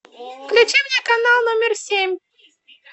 включи мне канал номер семь